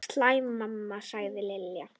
Sæl mamma sagði Lilla.